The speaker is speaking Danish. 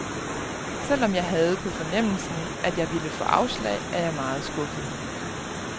Selvom jeg havde på fornemmelsen, at jeg ville få afslag, er jeg meget skuffet.